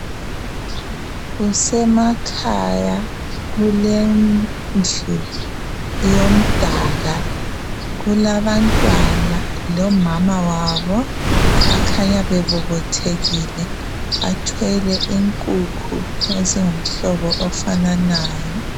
Kusemakhaya kulendlu yomdaka kulabantwana lomama wabo abakhanya bebobothekile. Bathwele inkukhu ezingumhlobo ofananayo.